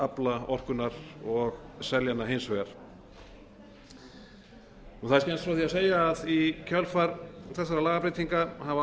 afla orkunnar og selja hana hins vegar skemmst er frá því að segja að í kjölfar þessara lagabreytinga hafa